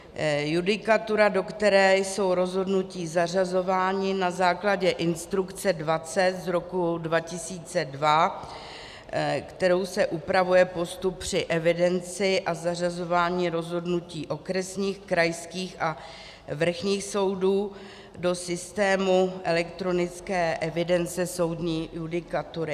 Judikatura, do které jsou rozhodnutí zařazována na základě instrukce 20 z roku 2002, kterou se upravuje postup při evidenci a zařazování rozhodnutí okresních, krajských a vrchních soudů do systému elektronické evidence soudní judikatury.